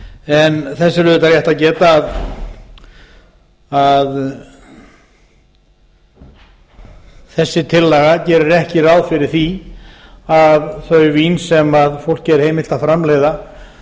en þess er auðvitað rétt að geta að þessi tillaga gerir ekki ráð fyrir því að þau vín sem fólki er heimilt að framleiða